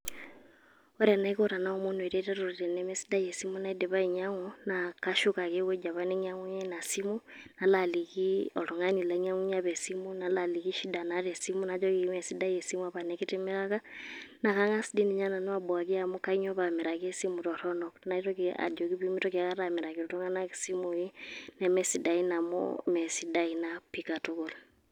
Ore enaiko tenaomonu ereteto tenemesidai esimu naidipa ainyang'u, na kashuk ake ewueji apa nainyang'unye ina simu, nalo aliki oltung'ani lainyang'unye apa esim. Nalo aliki shida naata esimu. Najoki meesidae esimu apa nikitimiraka. Na kang'as tinye nanu abuaki amu kainyoo pamiraki esimu torronok. Naitoki ajoki pemitoki aikata amiraki iltung'anak isimui nemesidain amu, meesidae ina pi katukul.